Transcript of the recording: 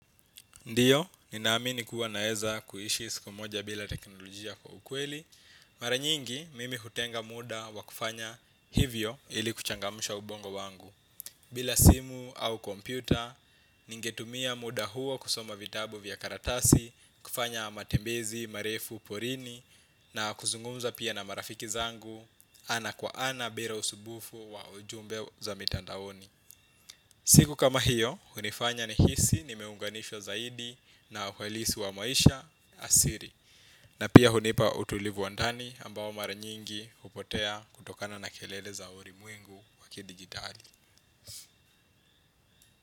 Ndiyo, ninaamini kuwa naeza kuishi siku moja bila teknolojia kwa ukweli. Mara nyingi, mimi hutenga muda wa kufanya hivyo ili kuchangamsha ubongo wangu. Bila simu au kompyuta, ningetumia muda huo kusoma vitabu vya karatasi, kufanya matembezi, marefu, porini, na kuzungumza pia na marafiki zangu, ana kwa ana bila usumbufu wa ujumbe za mitandaoni. Siku kama hiyo, hunifanya nihisi, nimeunganishwa zaidi na welisi wa maisha asili. Na pia hunipa utulivu wa ndani ambao mara nyingi hupotea kutokana na kelele za ulimwengu wa kidigitali.